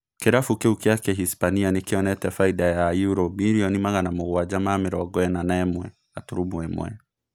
Kĩrabu kĩu kia Kĩhispania nĩkĩonete baida ya yuro mirioni magana mũgwanja ma mĩrongo ĩna na ĩmwe gaturumo imwe